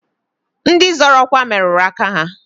Ndị zọrọ ọkwa merụrụ aka ha.